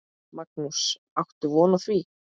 Magnús: Áttu von á því?